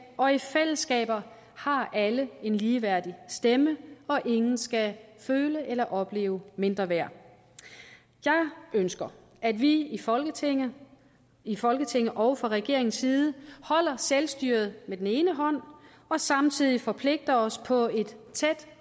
og i fællesskaber har alle en ligeværdig stemme og ingen skal føle eller opleve mindreværd jeg ønsker at vi i folketinget i folketinget og fra regeringens side holder selvstyret med den ene hånd og samtidig forpligter os på et tæt